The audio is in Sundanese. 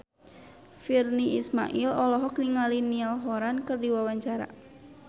Virnie Ismail olohok ningali Niall Horran keur diwawancara